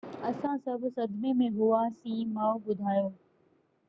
اسان سڀ صدمي ۾ هئاسين ماءُ ٻڌايو